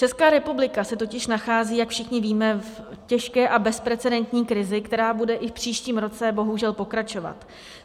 Česká republika se totiž nachází, jak všichni víme, v těžké a bezprecedentní krizi, která bude i v příštím roce bohužel pokračovat.